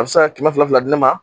A bɛ se ka kɛmɛ fila fila di ne ma.